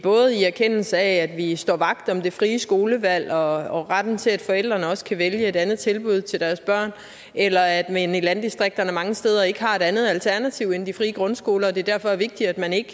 erkendelse af at vi står vagt om det frie skolevalg og retten til at forældrene også kan vælge et andet tilbud til deres børn eller at man i landdistrikterne mange steder ikke har et andet alternativ end de frie grundskoler og det derfor er vigtigt at man ikke